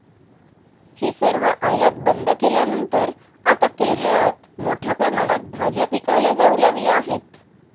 हि सर्व आयात बंद केल्यानंतर आता केरळात मोठ्या प्रमाणात भाज्या पिकवल्या जाऊ लागल्या आहेत.